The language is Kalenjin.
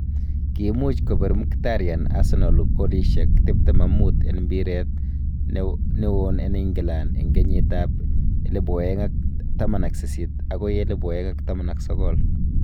Kimuuch Kobiir Mkhitaryan arsenal golishek 25 en mbiiret newon en England en Kenyiet ab 2018 agoi 2019.